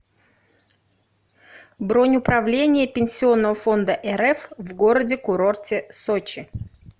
бронь управление пенсионного фонда рф в городе курорте сочи